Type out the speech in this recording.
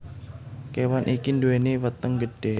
Kewan iki nduweni weteng gedhe